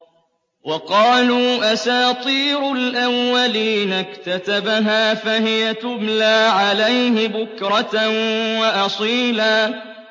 وَقَالُوا أَسَاطِيرُ الْأَوَّلِينَ اكْتَتَبَهَا فَهِيَ تُمْلَىٰ عَلَيْهِ بُكْرَةً وَأَصِيلًا